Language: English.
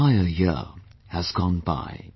An entire year has gone by